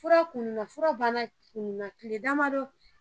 Fura kunu na fura bana kile damadɔ